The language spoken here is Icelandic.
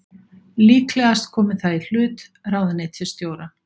Líklegast komi það í hlut ráðuneytisstjóra